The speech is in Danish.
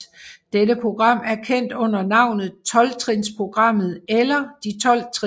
Dette program er kendt under navnet Tolvtrinsprogrammet eller De Tolv Trin